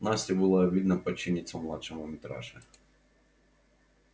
насте было обидно подчиниться младшему митраше